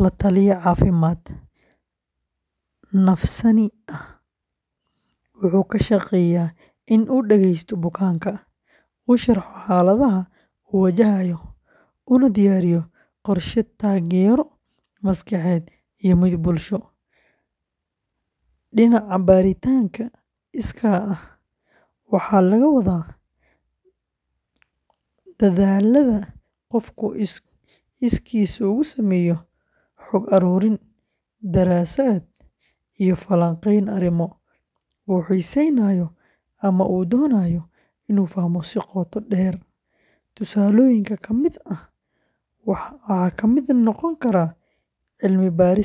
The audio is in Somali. la-taliye caafimaad-nafsaani ah wuxuu ka shaqeeyaa in uu dhageysto bukaanka, u sharxo xaaladaha uu wajahayo, una diyaariyo qorshe taageero maskaxeed iyo mid bulsho. Dhinaca baaritaanka iskaa ah, waxaa laga wadaa dadaallada qofku iskiis ugu sameeyo xog-ururin, daraasad, iyo falanqeyn arrimo uu xiiseynayo ama uu doonayo inuu fahmo si qoto dheer. Tusaalooyinka ka mid ah waxaa ka mid noqon kara cilmi-baadhista bulshada.